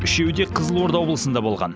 үшеуі де қызылорда облысында болған